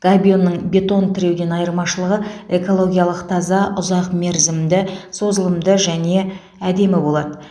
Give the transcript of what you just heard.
габионның бетон тіреуден айырмашылығы экологиялық таза ұзақ мерзімді созылымды және әдемі болады